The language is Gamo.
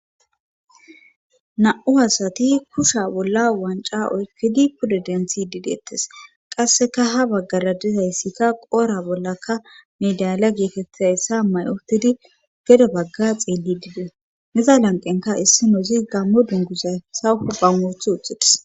Na7u hasati kusha bolla wanca oykkidi pudo denthi dideettes qasseka ha baggara dizayssikka qoora bollaka nedaala geekettizayssa may7utidi gedo bagga xeelli diidee neza lanqenka issi nozi gammo dunguzay sawufu bammoth huxites.